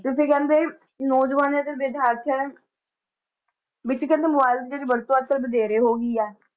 ਕਹਿੰਦੇ ਨੌਜ਼ਵਾਨ ਤੇ ਵਿਦਿਆਰਥੀਆਂ ਦੇ ਵਿੱਚ ਕਹਿੰਦੇ mobile ਦੀ ਜਿਹੜੀ ਵਰਤੋਂ ਅੱਜ ਕੱਲ੍ਹ ਵਧੇਰੇ ਹੋ ਗਈ ਆ।